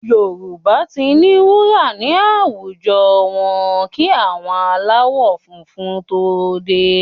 Yorùbá ti ní wúrà ní àwùjọ wọn kí àwọn aláwọ̀ funfun tó dé